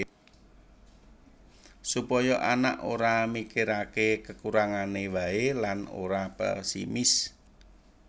Supaya anak ora mikirake kekurangane wae lan ora pesimis